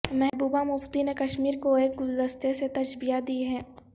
محبوبہ مفتی نے کشمیر کو ایک گلدستے سے تشبیہ دی ہے